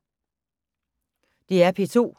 DR P2